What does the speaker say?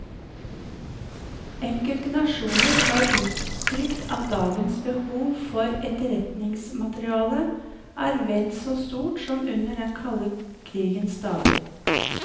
Enkelte nasjoner har uttrykt at dagens behov for etterretningsmateriale er vel så stort som under den kalde krigens dager.